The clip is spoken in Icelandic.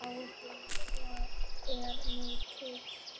Þeirra ábyrgð er mikil.